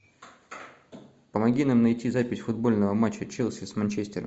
помоги нам найти запись футбольного матча челси с манчестером